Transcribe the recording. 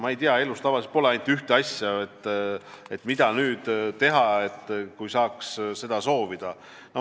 Ma ei tea, elus pole tavaliselt ainult ühte asja, mida nüüd teha ja mida soovida.